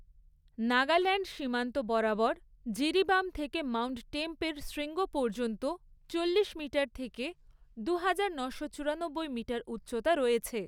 নাগাল্যাণ্ড সীমান্ত বরাবর জিরিবাম থেকে মাউন্ট টেম্প এর শৃঙ্গ পর্যন্ত চল্লিশ মিটার থেকে দুহাজার, নশো চুরানব্বই মিটার উচ্চতা রয়েছে।